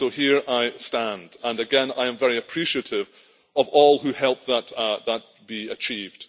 So here I stand and again I am very appreciative of all who helped that be achieved.